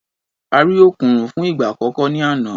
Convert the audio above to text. A rí òkùnrùn fún ìgbà àkọ́kọ́ ní àná.